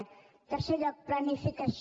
en tercer lloc planificació